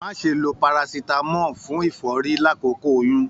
Má ṣe ló parasitamọ fún ìfọ́rí l'akoko oyún!